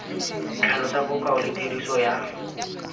tlhalosa bokao le tiriso ya